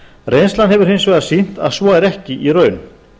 reynslan hefur hins vegar sýnt að svo er ekki í raun